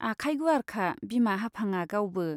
आखाइ गुवारखा बिमा हाफांआ गावबो।